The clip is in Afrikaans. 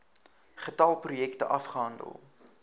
getal projekte afgehandel